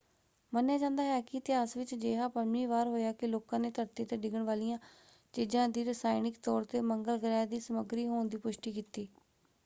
ਮੰਨਿਆ ਜਾਂਦਾ ਹੈ ਕਿ ਇਤਿਹਾਸ ਵਿੱਚ ਅਜਿਹਾ ਪੰਜਵੀਂ ਵਾਰ ਹੋਇਆ ਕਿ ਲੋਕਾਂ ਨੇ ਧਰਤੀ 'ਤੇ ਡਿੱਗਣ ਵਾਲੀਆਂ ਚੀਜਾਂ ਦੀ ਰਸਾਇਣਿਕ ਤੌਰ 'ਤੇ ਮੰਗਲ ਗ੍ਰਹਿ ਦੀ ਸਮੱਗਰੀ ਹੋਣ ਦੀ ਪੁਸ਼ਟੀ ਕੀਤੀ।